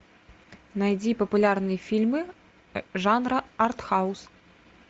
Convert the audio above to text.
найди популярные фильмы жанра артхаус